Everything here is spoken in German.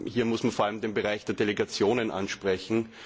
Hier muss man vor allem den Bereich der Delegationen ansprechen.